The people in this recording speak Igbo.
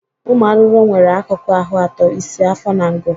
Ụmụ arụrụ nwere akụkụ ahụ ato: isi, afọ na ngụ.